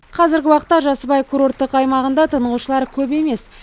қазіргі уақытта жасыбай курорттық аймағында тынығушылар көп емес